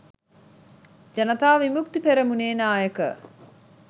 ජනතා විමුක්ති පෙරමුණේ නායක